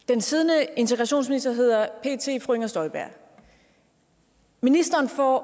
den siddende integrationsminister hedder pt fru inger støjberg ministeren får